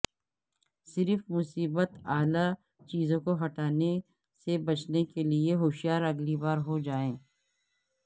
صرف مصیبت اعلی چیزوں کو ہٹانے سے بچنے کے لئے ہوشیار اگلی بار ہو جائے